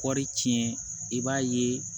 Kɔɔri tiɲɛ i b'a ye